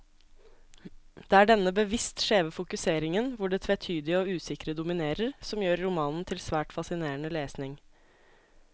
Det er denne bevisst skjeve fokuseringen, hvor det tvetydige og usikre dominerer, som gjør romanen til svært fascinerende lesning.